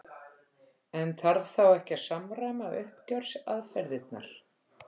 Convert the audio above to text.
En þarf þá ekki að samræma uppgjörsaðferðirnar?